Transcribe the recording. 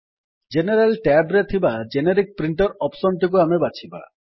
general tab ରେ ଥିବା generic printer option ଟିକୁ ଆମେ ବାଛିବା